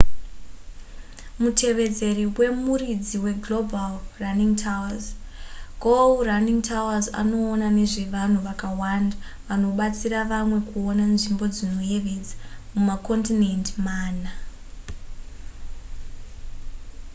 mutevedzeri wemuridzi weglobal running tours go running tours anoona nezvevanhu vakawanda vanobatsira vamwe kuona nzvimbo dzinoyevedza mumakondinendi mana